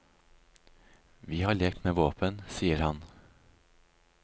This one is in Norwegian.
Vi har lekt med våpen, sier han.